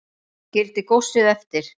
Skildi góssið eftir